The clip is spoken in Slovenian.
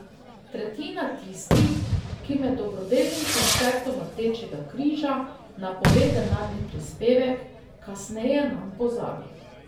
Tretjina tistih, ki med dobrodelnim koncertom Rdečega križa napove denarni prispevek, kasneje nanj pozabi.